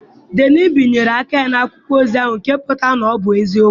Dean bịanyere aka na akwụkwọ ozi ahụ, nke pụtara na ọ bụ eziokwu.